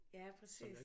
Ja præcis